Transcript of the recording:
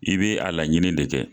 I bɛ a laɲini de kɛ.